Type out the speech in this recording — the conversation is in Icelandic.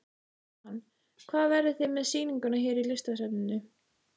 Jóhann: Hvar verðið þið með sýninguna hér í Listasafninu?